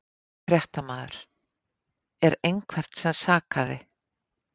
Fréttamaður: Er einhvern sem sakaði?